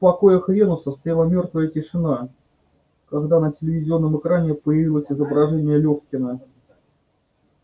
в покоях венуса стояла мёртвая тишина когда на телевизионном экране появилось изображение лёфкина